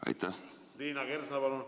Liina Kersna, palun!